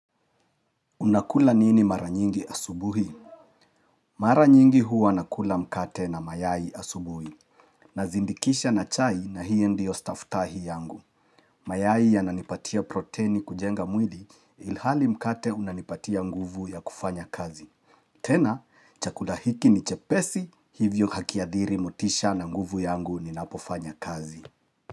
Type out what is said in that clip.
Unakula nini mara nyingi asubuhi? Mara nyingi huwa nakula mkate na mayai asubuhi. Nazindikisha na chai na hiyo ndio stafutahi yangu. Mayai yananipatia proteni kujenga mwili ilhali mkate unanipatia nguvu ya kufanya kazi. Tena chakula hiki ni chepesi hivyo hakiadhiri motisha na nguvu yangu ninapofanya kazi.